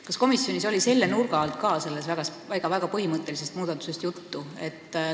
Kas komisjonis oli ka selle nurga alt sellest väga põhimõttelisest muudatusest juttu?